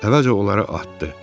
Əvvəlcə onları atdı.